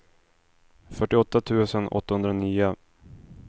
fyrtioåtta tusen åttahundranio